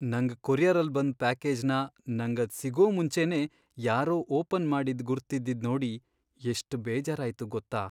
ನಂಗ್ ಕೊರಿಯರಲ್ಲ್ ಬಂದ್ ಪ್ಯಾಕೇಜ್ನ ನಂಗದ್ ಸಿಗೋ ಮುಂಚೆನೇ ಯಾರೋ ಓಪನ್ ಮಾಡಿದ್ ಗುರ್ತಿದ್ದಿದ್ ನೋಡಿ ಎಷ್ಟ್ ಬೇಜಾರಾಯ್ತು ಗೊತ್ತಾ?